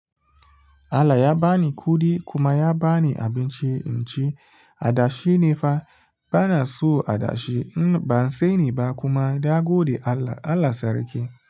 Allah ya ba ni kuɗi kuma ya ba ni abinci. In ci adashi ne fa bana so adashi. Ban sani ba kuma dagodi Allah, Allah sarki.